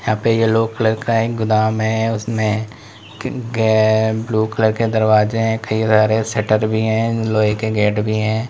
यहां पे yellow colour का एक गोदाम है। उसमें ग्-गै ब्लू कलर के दरवाजे हैं। कई सारे शटर भी हैं। लोहे के गेट भी हैं।